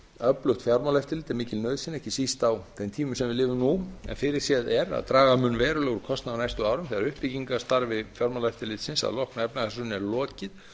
öflugt fjármálaeftirlit er mikil nauðsyn ekki síst á þeim tímum sem við lifum nú en fyrirséð er að draga mun verulega úr kostnaði á næstu árum þegar uppbyggingarstarfi fjármálaeftirlitsins að loknu efnahagshruni er lokið